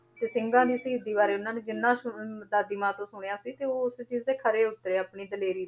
ਤੇ ਸਿੰਘਾਂ ਦੀ ਸ਼ਹੀਦੀ ਬਾਰੇ ਉਹਨਾਂ ਨੇ ਜਿੰਨਾ ਸੁਣ~ ਦਾਦੀ ਮਾਂ ਤੋਂ ਸੁਣਿਆ ਸੀ, ਤੇ ਉਹ ਉਸੇ ਚੀਜ਼ ਤੇ ਖਰੇ ਉੱਤਰੇ ਆਪਣੀ ਦਲੇਰੀ,